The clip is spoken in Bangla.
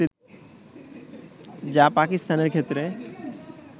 যা পাকিস্তানের ক্ষেত্রে